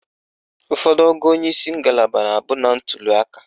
Ụfọdụ ogo onyeisi ngalaba na-abụ na ntuliaka.